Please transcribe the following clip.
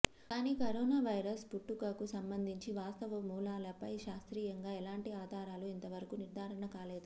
కానీ corona virus పుట్టుకకు సంబంధించి వాస్తవ మూలాలపై శాస్త్రీయంగా ఎలాంటి ఆధారాలు ఇంతవరకు నిర్ధారణ కాలేదు